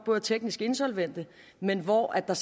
er teknisk insolvente men hvor der